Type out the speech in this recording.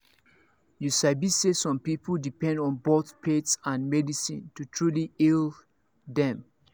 you sabi say some people depend on both faith and medicine to truly heal them